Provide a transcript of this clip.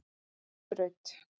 Nesbraut